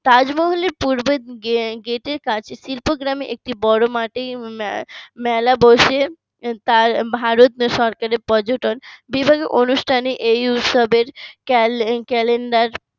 তাজমহলের পূর্বে গেটের কাছে শিল্প গ্রামে একটি বড় মাঠে মেলা বসে, তা ভারত সরকারের পর্যটন বিভিন্ন অনুষ্ঠানের এই উৎসবের cale~ calender